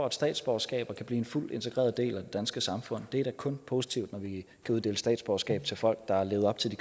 et statsborgerskab og kan blive en fuldt integreret del af det danske samfund det er da kun positivt når vi kan uddele statsborgerskab til folk der har levet op til de